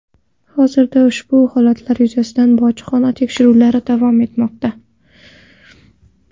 Hozirda ushbu holatlar yuzasidan bojxona tekshiruvlari davom etmoqda.